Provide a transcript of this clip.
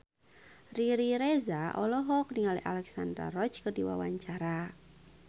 Riri Reza olohok ningali Alexandra Roach keur diwawancara